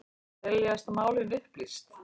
Teljast málin upplýst